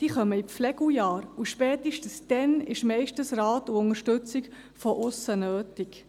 Sie kommen in die Flegeljahre, und spätestens dann ist meistens Rat und Unterstützung von aussen nötig.